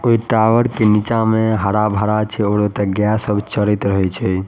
कोई टॉवर के नीचा में हरा-भरा छै अउरु गाय सब चरत रहे छै।